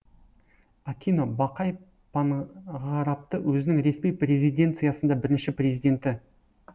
акино бақай панғарапты өзінің ресми резиденциясында бірінші президенті